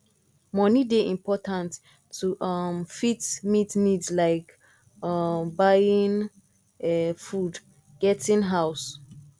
money dey important to um fit meet needs like um buying um food getting house